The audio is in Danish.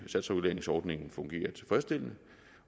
satsreguleringsordningen fungerer tilfredsstillende